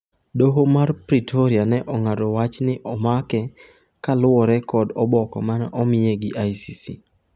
Doho mar Pretoria ne ong'ado wach ni omake kaluwore kod oboke mane omiye gi ICC.